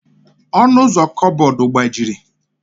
Ọnụ ụzọ kaboodu agbajiri.